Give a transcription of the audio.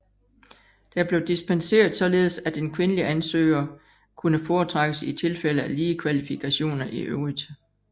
Der blev dispenseret således at en kvindelig ansøgere kunne foretrækkes i tilfælde af lige kvalifikationer i øvrigt